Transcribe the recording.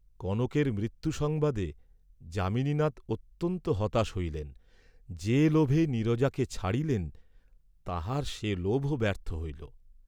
কনকের মৃত্যুসংবাদে যামিনীনাথ অত্যন্ত হতাশ হইলেন, যে লোভে নীরজাকে ছাড়িলেন তাঁহার সে লোভও ব্যর্থ হইল।